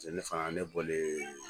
Paseke ne fana ne bɔlen